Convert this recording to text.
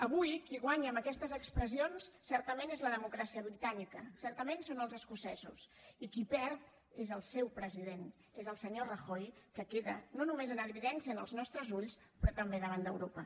avui qui guanya amb aquestes expressions certament és la democràcia britànica certament són els escocesos i qui hi perd és el seu president és el senyor rajoy que queda no només en evidència als nostres ulls sinó també davant d’europa